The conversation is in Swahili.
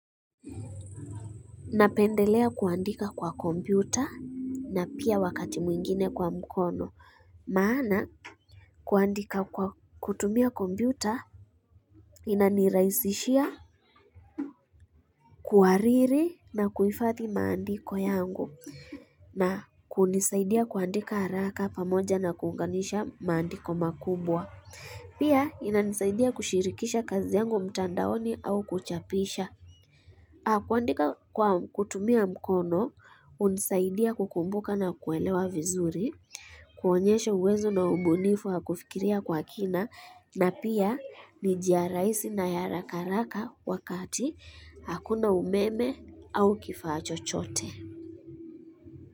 Napendelea kuandika kwa kompyuta na pia wakati mwingine kwa mkono maana kuandika kwa kutumia kompyuta inanirahizishia kuhariri na kuifadhi maandiko yangu na kunisaidia kuandika haraka pamoja na kuunganisha maandiko makumbwa Pia inanisaidia kushirikisha kazi yangu mtandaoni au kuchapisha kuandika kwa kutumia mkono, hunisaidia kukumbuka na kuelewa vizuri, kuonyesha uwezo na ubunifu wa kufikiria kwa kina na pia ni njia rahisi na ya haraka haraka wakati hakuna umeme au kifaa chochote.